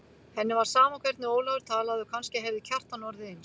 Henni var sama hvernig Ólafur talaði og kannski hefði Kjartan orðið eins.